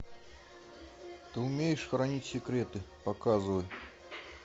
ты умеешь хранить секреты показывай